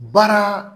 Baara